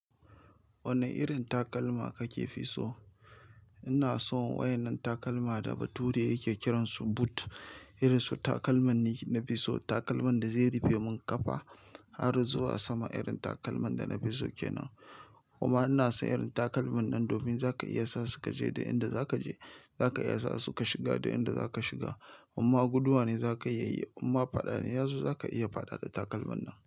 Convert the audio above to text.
Wanne irin takalma kake fi so? Ina son wayen nan takalma da bature yake kiransu boot. Irin su takalman ne na fi so. Takalman da zai rufe mun ƙafa har zuwa sama irin takalman da na fi so ke nan. Kuma ina so irin takalman nan domin za ka iya sa su ka je duk inda za ka je. Za ka iya sa su ka shiga da inda za ka shiga. Imma guduwa ne za ka iya yi. Kuma fada ne ya zo, za ka iya fada da takalman nan.